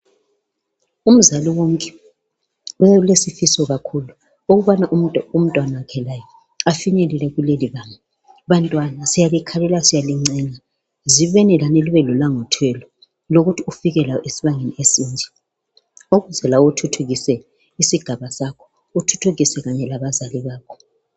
Umzali wonke ulesifiso kakhulu ukubana umntwanakhe laye afinyelele kuleli banga Bantwana siyalikhanuka siyalincenga zibeni lani libe lolangathelo lokuthi ufike lawe esibangeni esinje ukuze lawe uthuthukise isigaba sakho uthuthukise kanye labazali bakho